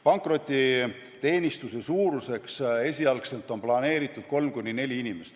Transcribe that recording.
Pankrotiteenistuse suuruseks on esialgu planeeritud ainult kolm kuni neli inimest.